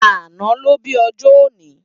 Àná ló bi òjò óni